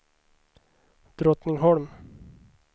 Drottningholm